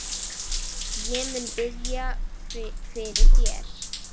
Ég mun biðja fyrir þér.